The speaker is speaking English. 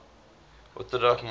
orthodox monarchs